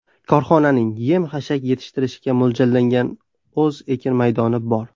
Korxonaning yem-hashak yetishtirishga mo‘ljallangan o‘z ekin maydoni bor.